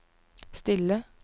stille